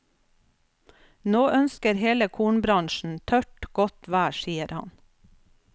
Nå ønsker hele kornbransjen tørt, godt vær, sier han.